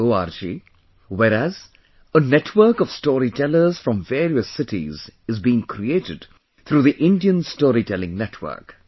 org, whereas a network of story tellers from various cities is being created through the Indian Storytelling Network